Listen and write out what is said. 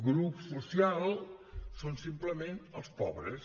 grup social són simplement els pobres